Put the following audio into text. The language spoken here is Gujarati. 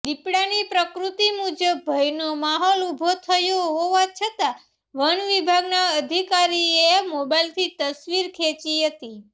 દિપડાની પ્રકૃતિ મુજબ ભયનો માહોલ ઊભો થયો હોવા છતાં વનવિભાગના અધિકારીએ મોબાઇલથી તસવીર ખેંચી હતી